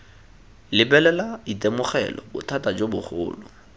lebelela itemogela bothata jo bogolo